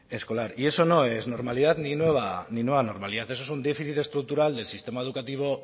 escolar y eso no es normalidad ni nueva normalidad eso es un déficit estructural del sistema educativo